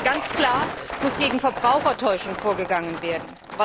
Ganz klar muss gegen Verbrauchertäuschung vorgegangen werden.